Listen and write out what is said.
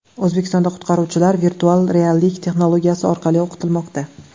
O‘zbekistonda qutqaruvchilar virtual reallik texnologiyasi orqali o‘qitilmoqda.